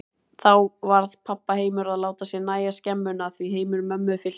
Þá varð pabba heimur að láta sér nægja skemmuna, því heimur mömmu fyllti bæinn.